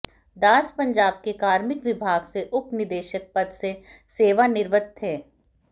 दास पंजाब के कार्मिक विभाग से उप निदेशक पद से सेवानिवृत्त थे